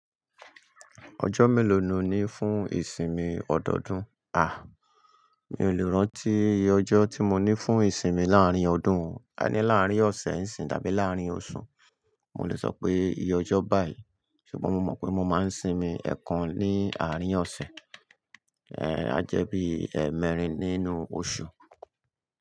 Ọjọ́ mélòó no ní fún ìsinmi ọdọọdún? A! Mi ò lè rántí ìye ọjọ́ tí mo ní fún ìsinmi láàárín ọdún, ka ní láàárín ọ̀sẹ̀ ń sin tàbí láàárín oṣù. Mò lè sọ pé iye ọjọ́ báì, ṣùgbọ́n mo mọ̀ pé mo máa ń sinmi ẹ̀ẹ̀kan ní àárín ọ̀sẹ̀, eh ajẹ́bí ẹ́ẹ̀mẹ́rin nínú oṣù.